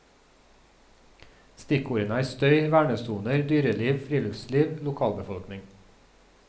Stikkordene er støy, vernesoner, dyreliv, friluftsliv, lokalbefolkning.